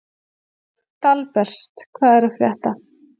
Dalbert, hvað er að frétta?